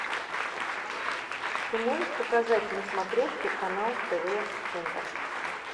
ты можешь показать на смотрешке канал тв центр